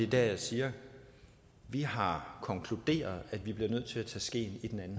der jeg siger at vi har konkluderet at vi bliver nødt til at tage skeen i den anden